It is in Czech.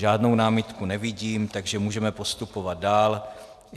Žádnou námitku nevidím, takže můžeme postupovat dál.